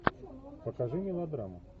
покажи мелодраму